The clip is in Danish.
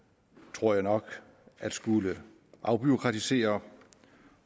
tror jeg nok at skulle afbureaukratisere